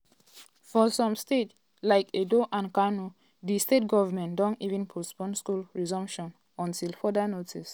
for some states like edo and kano di state goments don even postpone school resumption until further notice.